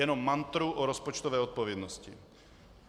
Jenom mantru o rozpočtové odpovědnosti.